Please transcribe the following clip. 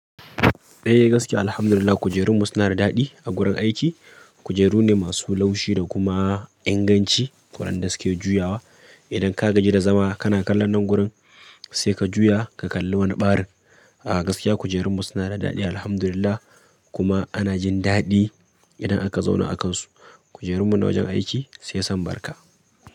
Eh gaskiya Alhamdulillah kujerunmu suna da daɗi a gurin aiki. Kujeru ne masu laushi da kuma inganci waɗanda suke juyawa. Idan ka gaji da zama kana kallon nan gurin sai ka juya ka kalli wani ɓarin. A gaskiya kujerunmu suna da daɗi Alhamdulillah kuma ana jin daɗi idan aka zauna a kansu. Kujerunmu na wajen aiki sai san barka.